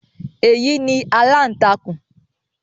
Èyí ni “aláǹtakùn”.